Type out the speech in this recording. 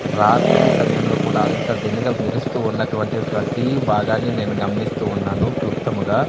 రాత్రి సమయంలో కూడా అంత దినగ మెరుస్తూ ఉన్నటువంటి ప్రతీ భాగాన్ని నేను గమనిస్తూ ఉన్నాను క్లుప్తముగా.